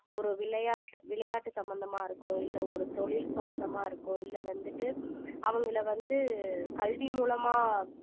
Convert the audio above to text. ஒரு விளையாட்டு விளையாட்டு சம்பந்தமா இருக்கும் இல்லை ஒரு தொழில் சம்பந்தமா இருக்கும் இல்லை வந்துட்டு அவங்களை வந்து கல்வி மூலமா